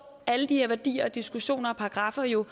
alle de her værdier diskussioner og paragraffer jo